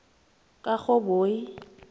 karhoboyi